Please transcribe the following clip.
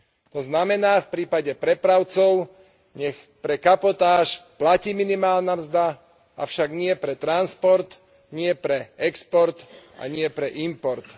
To znamená v prípade prepravcov, nech pre kapotáž platí minimálna mzda, avšak nie pre transport, nie pre export a nie pre import.